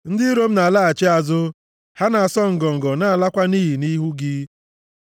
Ndị iro m na-alaghachi azụ, ha na-asọ ngọngọ na-alakwa nʼiyi nʼihu gị.